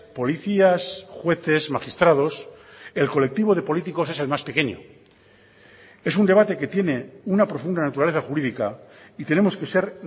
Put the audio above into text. policías jueces magistrados el colectivo de políticos es el más pequeño es un debate que tiene una profunda naturaleza jurídica y tenemos que ser